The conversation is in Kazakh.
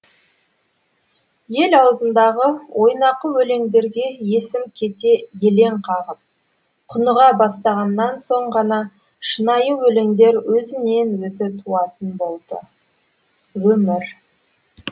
ел аузындағы ойнақы өлеңдерге есім кете елең қағып құныға бастағаннан соң ғана шынайы өлеңдер өзінен өзі туатын болды өмір